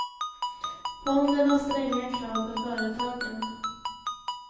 Fonden har stränga krav för företagen.